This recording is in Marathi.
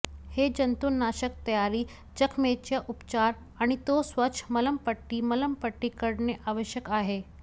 हे जंतुनाशक तयारी जखमेच्या उपचार आणि तो स्वच्छ मलमपट्टी मलमपट्टी करणे आवश्यक आहे